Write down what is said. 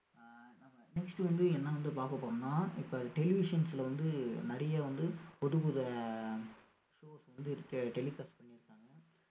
ஆஹ் நாம next வந்து என்ன வந்து பார்க்க போறோம்னா இப்ப televisions ல வந்து நிறைய வந்து புதுப்புது ஆஹ் shows வந்து இருக்கு telecast பண்ணியிருக்காங்க